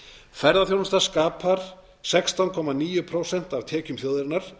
ferðaþjónusta skapar sextán komma níu prósent af útflutningstekjum þjóðarinnar